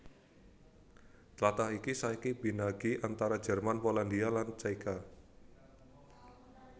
Tlatah iki saiki binagi antara Jerman Polandia lan Cékia